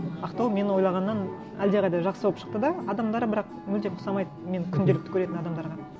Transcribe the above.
ақтау мен ойлағаннан әлдеқайда жақсы болып шықты да адамдары бірақ мүлдем ұқсамайды мен күнделікті көретін адамдарға